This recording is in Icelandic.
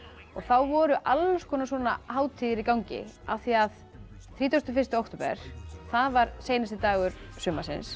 og þá voru svona hátíðir í gangi af því að þrítugasta og fyrsta október var seinasti dagur sumarsins